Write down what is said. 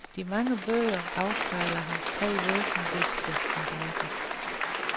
De mange bøger afspejler hans tre væsentligste interesser.